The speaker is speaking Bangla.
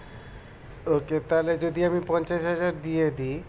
Okay তাহলে যদি আমি পঞ্চাশ হাজার দিয়ে দি